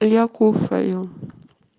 я кушаю